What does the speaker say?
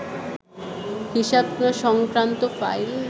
হিসাব সংক্রান্ত ফাইল